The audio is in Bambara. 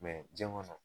jɛn kɔnɔ